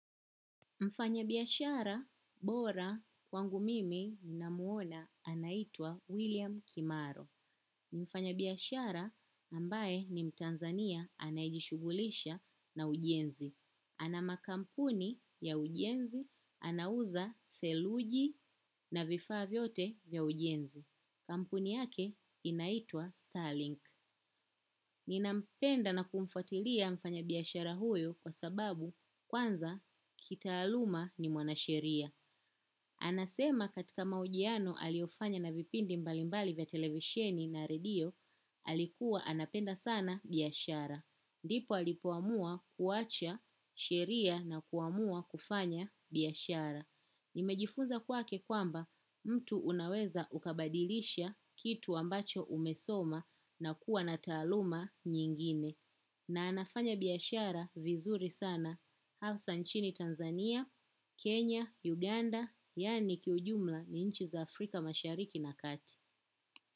Mfanyabiashara bora kwangu mimi namwona anaitwa William Kimaro. Mfanyabiashara ambaye ni mtanzania anajishughulisha na ujenzi. Ana makampuni ya ujenzi, anauza seluji na vifaa vyote ya ujenzi. Kampuni yake inaitwa Starlink. Ninampenda na kumfuatilia mfanyabiashara huyu kwa sababu kwanza kitaaluma ni mwanasheria. Anasema katika mahojiano aliyofanya na vipindi mbalimbali vya televisheni na redio alikuwa anapenda sana biashara. Ndipo alipoamua kuacha sheria na kuamua kufanya biashara. Nimejifunza kwake kwamba mtu unaweza ukabadilisha kitu ambacho umesoma na kuwa na taaluma nyingine. Na anafanya biyashara vizuri sana. Hafsa nchini Tanzania, Kenya, Uganda, yaani kiujumla ni nchi za Afrika mashariki na kati.